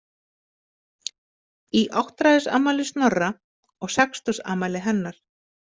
Í áttræðisafmæli Snorra og sextugsafmæli hennar.